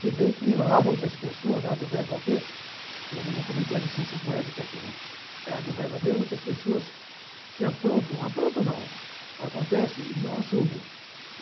Se bem que há muitas pessoas no da ver – é não vou cometer a licença poética aqui, não – ah da ver muitas pessoas que aprontam, aprontam não, acontece e não assumem.